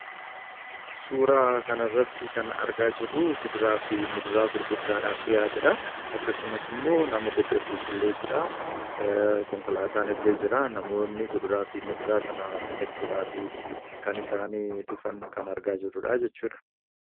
Suuraa kana irratti kan argaa jirru kuduraa fi muduraa gurgurtaadhaaf dhi'aatedha. akkasumas immoo nama kophee qulqulleessuudha. Konkolaataan illee jira. Namoonni kuduraa fi muduraa sana bitachuudhaafi kan isaan dhufan kan argaa jirrudha jechuudha.